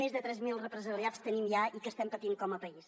més de tres mil represaliats tenim ja i estem patint com a país